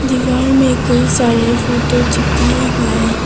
दीवार में कई सारे फोटो चिपकाए हुए हैं।